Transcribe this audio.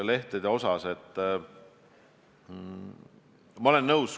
Aitäh teile!